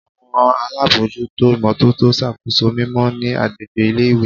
Awọn alabojuto imototo ṣakoso mimọ ni agbegbe ile-iwe